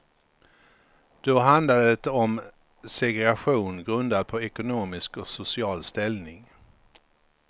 Då handlade det om segregation grundad på ekonomisk och social ställning.